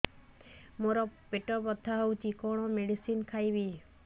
ମୋର ପେଟ ବ୍ୟଥା ହଉଚି କଣ ମେଡିସିନ ଖାଇବି